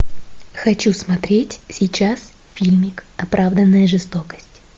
хочу смотреть сейчас фильмик оправданная жестокость